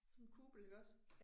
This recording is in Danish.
Sådan en kupel iggås